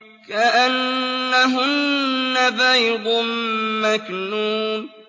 كَأَنَّهُنَّ بَيْضٌ مَّكْنُونٌ